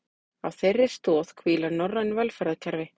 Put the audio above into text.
Á þeirri stoð hvíla norræn velferðarkerfi